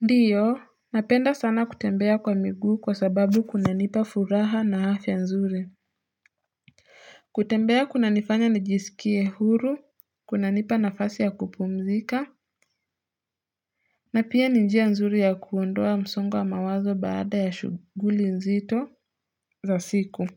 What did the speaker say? Ndiyo, napenda sana kutembea kwa miguu kwa sababu kuna nipa furaha na afiya nzuri kutembea kuna nifanya najisikie huru, kunanipa nafasi ya kupumzika na pia ni njia nzuri ya kuondoa msongo wa mawazo baada ya shughuli nzito za siku